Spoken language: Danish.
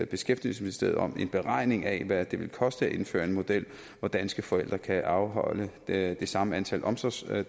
beskæftigelsesministeriet om en beregning af hvad det vil koste at indføre en model hvor danske forældre kan afholde det samme antal omsorgsdage